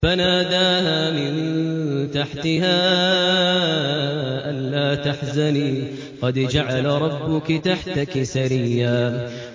فَنَادَاهَا مِن تَحْتِهَا أَلَّا تَحْزَنِي قَدْ جَعَلَ رَبُّكِ تَحْتَكِ سَرِيًّا